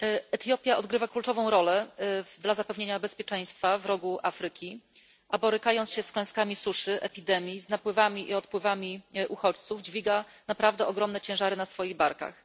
Etiopia odgrywa kluczową rolę w zapewnianiu bezpieczeństwa w Rogu Afryki, a borykając się z klęskami suszy, z epidemiami, z napływami i odpływami uchodźców, dźwiga naprawdę ogromne ciężary na swoich barkach.